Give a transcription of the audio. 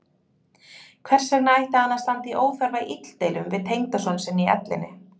Hvers vegna ætti hann að standa í óþarfa illdeilum við tengdason sinn í ellinni?